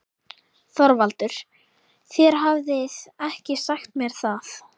ÞORVALDUR: Þér hafið ekki sagt mér það.